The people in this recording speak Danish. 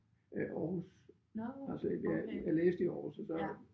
Øh Aarhus. Altså jeg jeg læste i Aarhus og så